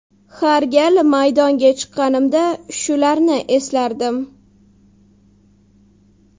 Har gal maydonga chiqqanimda shularni eslardim.